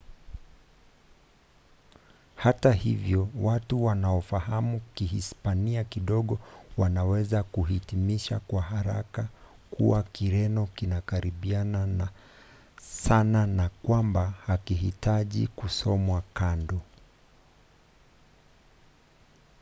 hata hivyo watu wanaofahamu kihispania kidogo wanaweza kuhitimisha kwa haraka kuwa kireno kinakaribiana sana na kwamba hakihitaji kusomwa kando